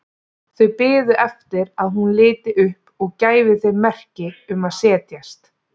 Þau biðu eftir að hún liti upp og gæfi þeim merki um að setjast.